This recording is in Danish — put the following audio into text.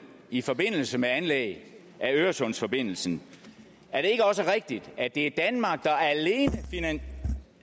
i forbindelse med anlæg af øresundsforbindelsen er det ikke også rigtigt at det alene er danmark der